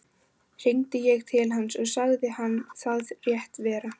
Hringdi ég til hans og sagði hann það rétt vera.